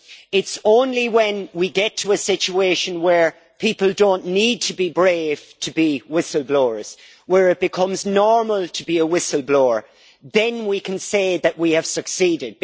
It's only when we get to a situation where people don't need to be brave to be whistle blowers where it becomes normal to be a whistle blower then we can say that we have succeeded.